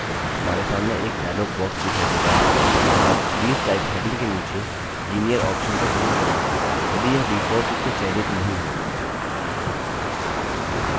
हमारे सामने एक dialog box दिखाई देता है अब series type heading के नीचे linear option पर click करें यदि यह default रूप से चयनित नहीं है